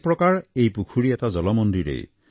এক প্ৰকাৰ এই পুখুৰী এটা জলমন্দিৰেই